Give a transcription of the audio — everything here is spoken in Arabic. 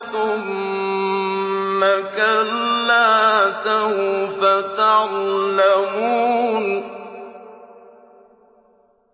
ثُمَّ كَلَّا سَوْفَ تَعْلَمُونَ